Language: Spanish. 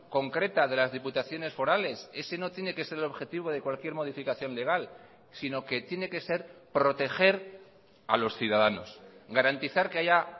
concreta de las diputaciones forales ese no tiene que ser el objetivo de cualquier modificación legal sino que tiene que ser proteger a los ciudadanos garantizar que haya